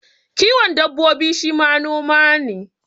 Kiwon dabbobi shi ma noma ne